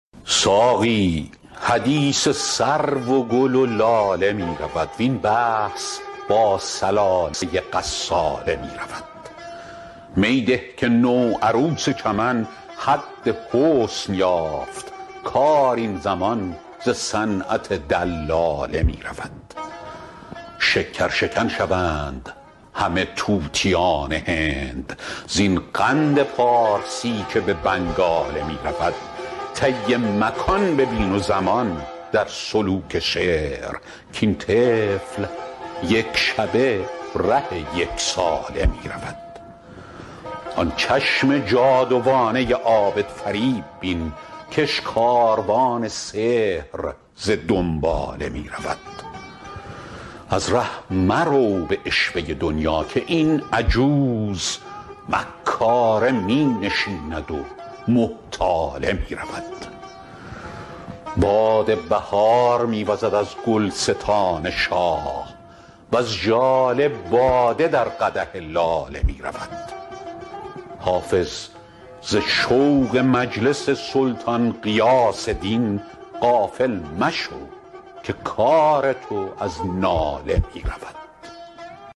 ساقی حدیث سرو و گل و لاله می رود وین بحث با ثلاثه غساله می رود می ده که نوعروس چمن حد حسن یافت کار این زمان ز صنعت دلاله می رود شکرشکن شوند همه طوطیان هند زین قند پارسی که به بنگاله می رود طی مکان ببین و زمان در سلوک شعر کاین طفل یک شبه ره یک ساله می رود آن چشم جادوانه عابدفریب بین کش کاروان سحر ز دنباله می رود از ره مرو به عشوه دنیا که این عجوز مکاره می نشیند و محتاله می رود باد بهار می وزد از گلستان شاه وز ژاله باده در قدح لاله می رود حافظ ز شوق مجلس سلطان غیاث دین غافل مشو که کار تو از ناله می رود